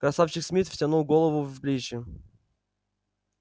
красавчик смит втянул голову в плечи